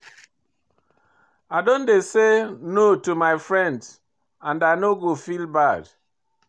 I don dey say no to my friends and I no go feel bad.